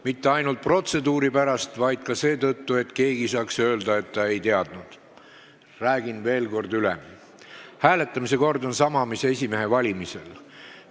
Mitte ainult protseduuri pärast, vaid ka seetõttu, et keegi ei saaks öelda, et ta ei teadnud, räägin veel kord hääletamise korrast, mis on sama nagu esimehe valimisel.